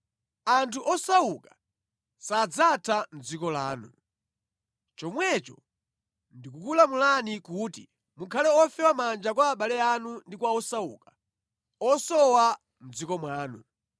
Anthu osauka sadzatha mʼdziko lanu. Chomwecho ndikukulamulani kuti mukhale ofewa manja kwa abale anu ndi kwa osauka, osowa mʼdziko mwanu.